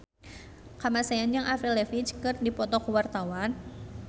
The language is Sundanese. Kamasean jeung Avril Lavigne keur dipoto ku wartawan